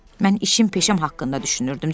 Mən işim, peşəm haqqında düşünürdüm.